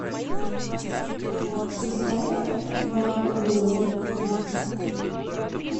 поставь вакуум